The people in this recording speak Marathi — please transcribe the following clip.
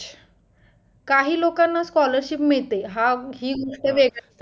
काही लोकांना scholarship मिळते हा ही गोष्ट वेगळं आहे